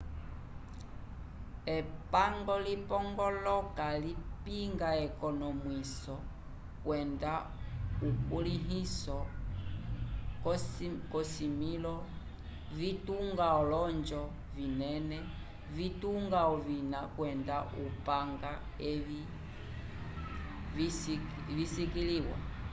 epango lipongoloka lipinga ekonomwiso kwenda ukulĩhiso k'ovisimĩlo vitunga olonjo vinene vitunga ovina kwenda okupanga evi viskiliwa